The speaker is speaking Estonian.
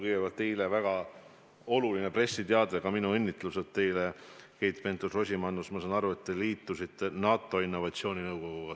Kõigepealt, teile väga oluline pressiteade, ka minu õnnitlused teile, Keit Pentus-Rosimannus: ma saan aru, et te liitusite NATO Innovatsiooninõukoguga.